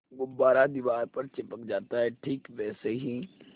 गुब्बारा दीवार पर चिपक जाता है ठीक वैसे ही